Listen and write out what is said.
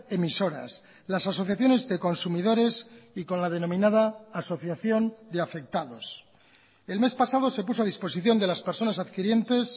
emisoras las asociaciones de consumidores y con la denominada asociación de afectados el mes pasado se puso a disposición de las personas adquirientes